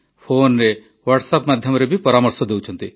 ଫୋନରେ ହ୍ୱାଟ୍ସଆପ୍ ମାଧ୍ୟମରେ ବି ପରାମର୍ଶ ଦେଉଛନ୍ତି